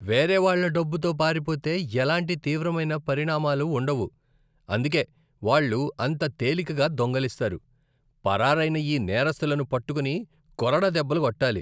వేరే వాళ్ళ డబ్బుతో పారిపోతే ఎలాంటి తీవ్రమైన పరిణామాలు ఉండవు, అందుకే వాళ్ళు అంత తేలికగా దొంగిలిస్తారు. పరారైన ఈ నేరస్థులను పట్టుకుని కొరడా దెబ్బలు కొట్టాలి.